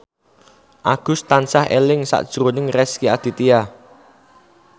Agus tansah eling sakjroning Rezky Aditya